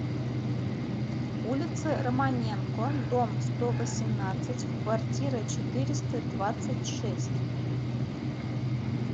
улицы романенко дом сто восемнадцать в квартира четыреста двадцать шесть